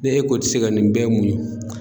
Ne e ko i ti se ka nin bɛɛ muɲu